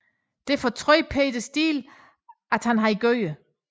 Det fortrød Peter Steele at han havde gjort